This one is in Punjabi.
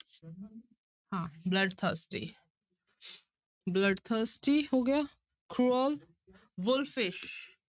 ਹਾਂ bloodthirsty bloodthirsty ਹੋ ਗਿਆ cruel, wolfish